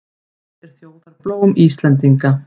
Hvert er þjóðarblóm Íslendinga?